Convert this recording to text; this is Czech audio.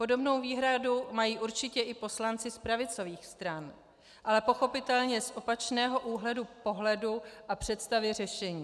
Podobnou výhradu mají určitě i poslanci z pravicových stran, ale pochopitelně z opačného úhlu pohledu a představy řešení.